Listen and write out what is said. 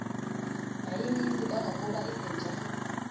yayininzi kangangokuba izinja